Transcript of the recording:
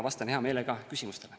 Vastan hea meelega küsimustele.